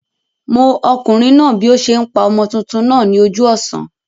Mó okùnrin náà bí o se n pa ọmọ tuntun náà ní ojú òsán